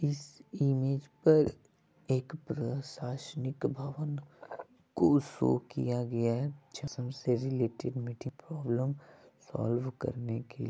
इस इमेज पर एक प्रशासनिक भवन को शो किया गया है से रिलेटेड मीटिंग प्रॉब्लम सॉल्व करने के लिए--।